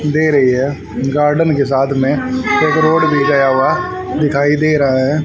दे रही है गार्डन के साथ में चक रोड भी गया हुआ है दिखाई दे रहा है।